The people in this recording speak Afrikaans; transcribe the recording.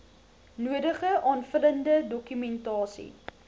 nodige aanvullende dokumentasie